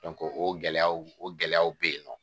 o gɛlɛyaw o gɛlɛyaw bɛ yen nɔ